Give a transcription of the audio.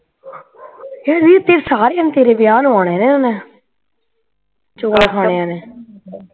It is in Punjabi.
ਹਏ ਨੀ ਇੱਥੇ ਸਾਰਿਆ ਨੇ ਤੇਰੇ ਵਿਆਹ ਨੂੰ ਆ ਜਾਣਾ ਓਹਨਾ ਚੂਆ ਖਾਣਿਆਂ ਨੇ